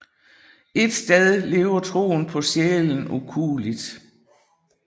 Et sted lever troen på sjælen ukueligt